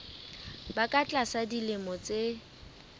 ba ka tlasa dilemo tse